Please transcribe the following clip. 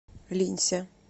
линься